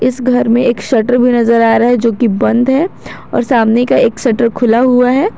इस घर में एक शटर भी नजर आ रहा है जो कि बंद है और सामने का एक शटर खुला हुआ है।